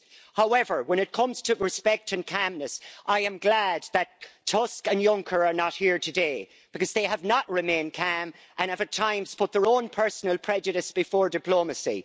However, when it comes to respect and calmness, I am glad that Tusk and Juncker are not here today they have not remained calm and have at times put their own personal prejudice before diplomacy.